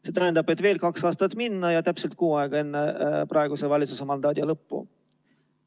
See tähendab, et sinna on veel kaks aastat minna ja täpselt kuu aega enne praeguse valitsuse mandaadi lõppu.